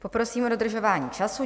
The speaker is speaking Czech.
Poprosím o dodržování času.